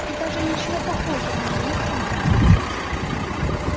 и даже ничего похожего на них нет